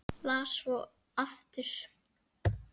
Las svo aftur.